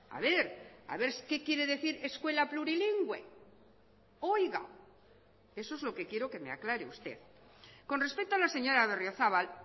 a ver a ver qué quiere decir escuela plurilingüe oiga eso es lo que quiero que me aclare usted con respecto a la señora berriozabal